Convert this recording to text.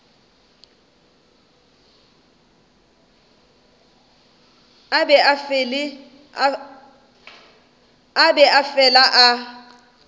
a be a fele a